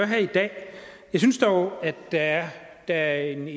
her i dag jeg synes dog at der er